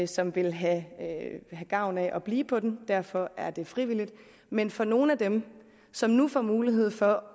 som vil have gavn af at blive på den derfor er det frivilligt men for nogle af dem som nu får mulighed for